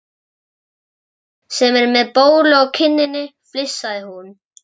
Í þeim sem er með bólu á kinninni flissaði hún.